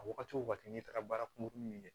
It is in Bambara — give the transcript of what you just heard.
A wagati o wagati n'i taara baara kunkurunin min kɛ